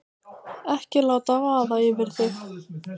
Ekki láta vaða yfir þig.